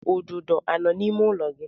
Ududo anọ n'ime ụlọ gị?